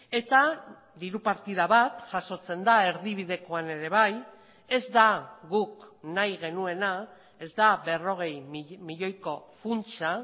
eta diru partida bat jasotzen da erdibidekoan ere bai ez da guk nahi genuena ez da berrogei milioiko funtsa